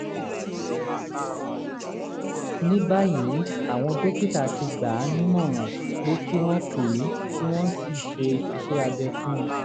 ní báyìí àwọn dókítà ti gbà á nímọ̀ràn pé kí wọ́n pé kí wọ́n ṣe iṣẹ́-abẹ fún un